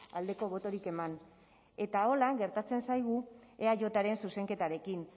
aldeko botorik eman eta horrela gertatzen zaigu eajren zuzenketarekin